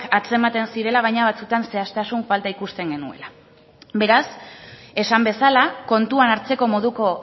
atzematen zirela baina batzuetan zehaztasun falta ikusten genuela beraz esan bezala kontuan hartzeko moduko